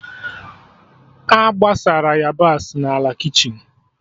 A gbasara yabasị n'ala kichin